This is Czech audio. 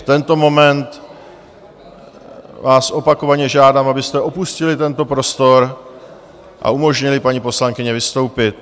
V tento moment vás opakovaně žádám, abyste opustili tento prostor a umožnili paní poslankyni vystoupit.